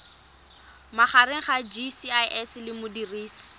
magareng ga gcis le modirisi